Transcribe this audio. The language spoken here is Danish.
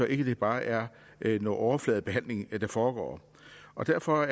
ikke bare er noget overfladebehandling der foregår og derfor